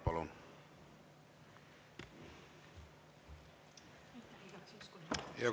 Palun!